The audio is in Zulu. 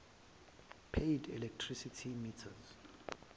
paid electricity meters